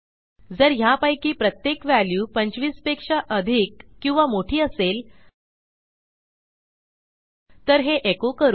जर ह्यापैकी प्रत्येक व्हॅल्यू 25 पेक्षा अधिक किंवा मोठी असेल तर हे एको करू